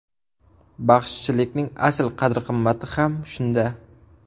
Baxshichilikning asl qadr-qimmati ham shunda!